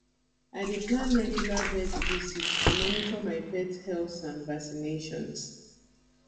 i dey plan regular vet visits to monitor my pet health and vaccinations